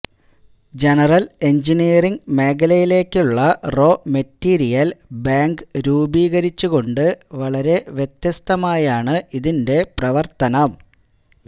general engineering മേഖലയിലേക്കുള്ള raw material bank രൂപീകരിച്ചു കൊണ്ട് വളരെ വ്യത്യസ്തമായാണ് ഇതിന്റെ പ്രവര്ത്തനം